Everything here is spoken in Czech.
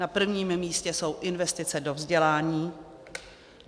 Na prvním místě jsou investice do vzdělání.